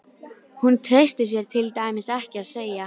Hún treysti sér til dæmis ekki til að segja